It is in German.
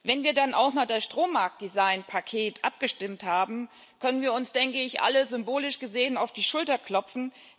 Wenn wir dann auch noch über das Strommarktdesign Paket abgestimmt haben, können wir uns alle symbolisch gesehen auf die Schulter klopfen.